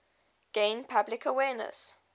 gain public awareness